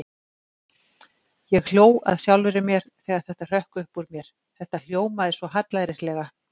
Ég hló að sjálfri mér þegar þetta hrökk upp úr mér, þetta hljómaði svo hallærislega.